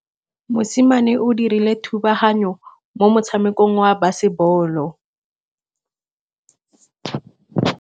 Mosimane o dirile thubaganyô mo motshamekong wa basebôlô.